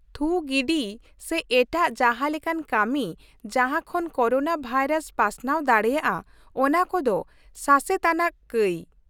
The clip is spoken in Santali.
ᱛᱷᱩ ᱜᱤᱰᱤ ᱥᱮ ᱮᱴᱟᱜ ᱡᱟᱦᱟᱸ ᱞᱮᱠᱟᱱ ᱠᱟᱹᱢᱤ, ᱡᱟᱦᱟᱸ ᱠᱷᱚᱱ ᱠᱳᱨᱳᱱᱟ ᱵᱷᱟᱭᱨᱟᱥ ᱯᱟᱥᱱᱟᱣ ᱫᱟᱲᱮᱭᱟᱜᱼᱟ ᱚᱱᱟ ᱠᱚᱫᱚ ᱥᱟᱥᱮᱛ ᱟᱱᱟᱜ ᱠᱟᱹᱭ ᱾